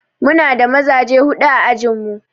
Mu na da mazaje huɗu a ajin mu.